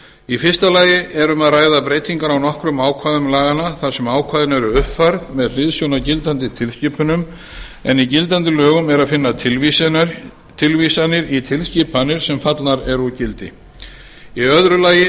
í fyrsta lagi er um að ræða breytingar á nokkrum ákvæðum laganna þar sem ákvæði eru uppfærð með hliðsjón af gildandi tilskipunum en í gildandi lögum er að finna tilvísanir í tilskipanir sem fallnar eru úr gildi í öðru lagi